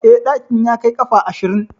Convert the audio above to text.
Eh, ɗakin ya kai ƙafa ashirin.